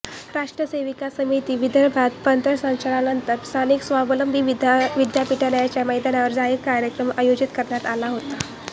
राष्ट्र सेविका समिती विदर्भप्रांत पथसंचलनानंतर स्थानिक स्वावलंबी विद्यालयाच्या मैदानावर जाहीर कार्यक्रम आयोजित करण्यात आला होता